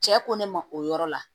Cɛ ko ne ma o yɔrɔ la